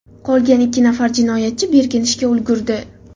Qolgan ikki nafar jinoyatchi berkinishga ulgurdi.